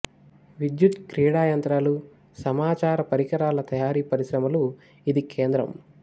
విద్యుత్ క్రీడా యంత్రాలు సమాచార పరికరాల తయారీ పరిశ్రమలు ఇది కేంద్రం